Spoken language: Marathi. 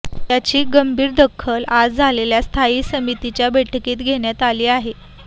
याची गंभीर दखल आज झालेल्या स्थायी समितीच्या बैठकीत घेण्यात आली